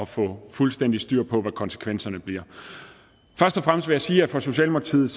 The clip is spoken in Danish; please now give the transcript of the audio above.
får fuldstændig styr på hvad konsekvenserne bliver først og fremmest jeg sige at for socialdemokratiet